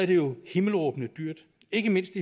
det jo himmelråbende dyrt ikke mindst